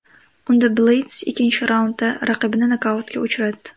Unda Bleyds ikkinchi raundda raqibini nokautga uchratdi.